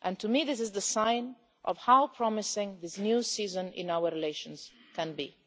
For me, this is the sign of how promising this new season in our relations can be.